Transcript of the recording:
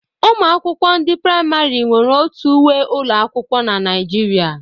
Ụmụ akwụkwọ ndị praịmarị nwere otu uwe ụlọ akwụkwọ n'Naijiria